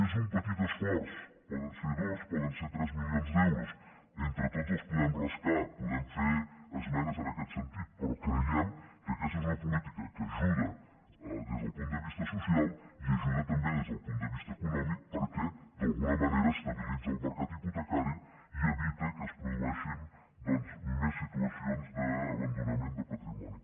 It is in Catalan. és un petit esforç poden ser dos poden ser tres milions d’euros entre tots els podem rascar podem fer esmenes en aquest sentit però creiem que aquesta és una política que ajuda des del punt de vista social i ajuda també des del punt de vista econòmic perquè d’alguna manera estabilitza el mercat hipotecari i evita que es produeixin doncs més situacions d’abandonament de patrimoni